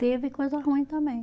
Teve coisa ruim também.